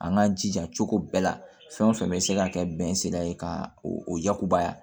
An k'an jija cogo bɛɛ la fɛn o fɛn bɛ se ka kɛ bɛn sela ye ka o yakubaya